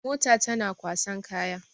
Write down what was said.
Mota tana kwasan kaya.